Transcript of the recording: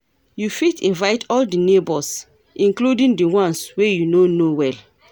You fit invite all di neighbors, including di ones wey you no know well.